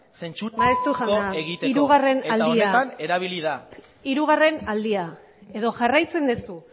zentsuratu egiteko eta honetan erabili da maeztu jauna hirugarren aldia hirugarren aldia edo jarraitzen duzu